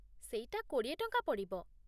ସେଇଟା କୋଡ଼ିଏ ଟଙ୍କା ପଡ଼ିବ ।